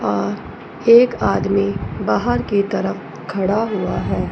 और एक आदमी बाहर की तरफ खड़ा हुआ हैं।